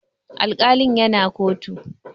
Alkalin ya na kotu